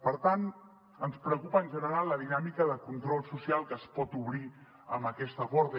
per tant ens preocupa en general la dinàmica de control social que es pot obrir amb aquesta porta